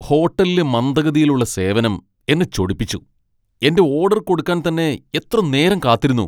ഹോട്ടലിലെ മന്ദഗതിയിലുള്ള സേവനം എന്നെ ചൊടിപ്പിച്ചു. എന്റെ ഓഡർ കൊടുക്കാൻ തന്നെ എത്ര നേരം കാത്തിരുന്നു!